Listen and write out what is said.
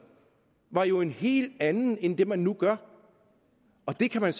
var jo en helt anden end det man nu vil gøre og det kan man